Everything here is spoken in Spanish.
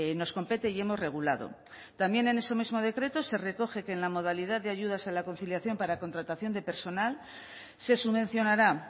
nos compete y hemos regulado también en ese mismo decreto se recoge que en la modalidad de ayudas a la conciliación para contratación de personal se subvencionará